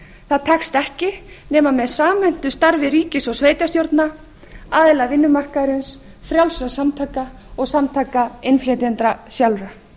það tekst ekki nema með samhentu starfi ríkis og sveitarstjórna aðila vinnumarkaðarins frjálsra samtaka og samtaka innflytjenda sjálfra